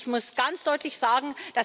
Ich muss ganz deutlich sagen.